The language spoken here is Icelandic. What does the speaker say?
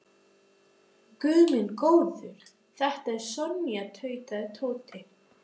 Guð minn góður, þetta er Sonja tautaði Tóti.